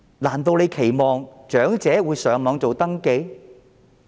難道政府期望長者會到互聯網上登記？